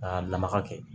K'a lamaga kɛ